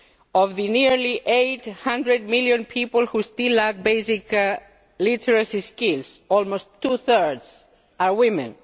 well. Of the nearly 800 million people who still lack basic literacy skills, almost two thirds are women.